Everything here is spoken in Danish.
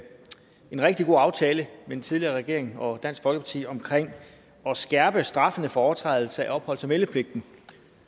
en rigtig god aftale den tidligere regering og dansk folkeparti omkring at skærpe straffene for overtrædelse af opholds og meldepligten